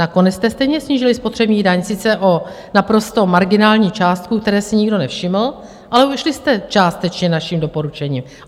Nakonec jste stejně snížili spotřební daň, sice o naprosto marginální částku, které si nikdo nevšiml, ale šli jste částečně naším doporučením.